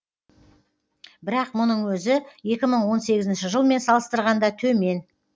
бірақ мұның өзі екі мың он сегізінші жылмен салыстырғанда төмен